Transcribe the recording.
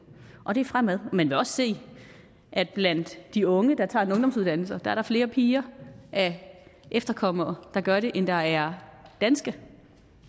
og det er fremad man vil også se at der blandt de unge der tager en ungdomsuddannelse er flere piger af efterkommere der gør det end der er danske